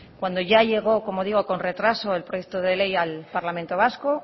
cuando ya llegó como digo con retraso el proyecto de ley al parlamento vasco